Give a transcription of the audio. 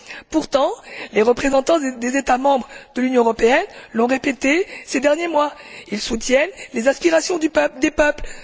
Pourtant, les représentants des États membres de l'Union européenne l'ont répété ces derniers mois ils soutiennent les aspirations des peuples.